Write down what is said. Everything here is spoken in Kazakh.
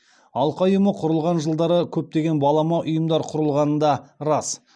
алқа ұйымы құрылған жылдары көптеген балама ұйымдар құрылғаны да рас